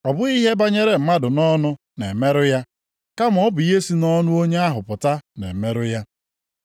Ọ bụghị ihe banyere mmadụ nʼọnụ na-emerụ ya, kama ọ bụ ihe sị nʼọnụ onye ahụ pụta na-emerụ ya.”